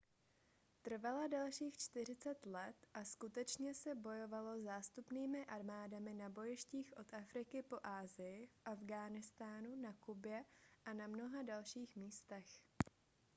trvala dalších 40 let a skutečně se bojovalo zástupnými armádami na bojištích od afriky po asii v afghánistánu na kubě a na mnoha dalších místech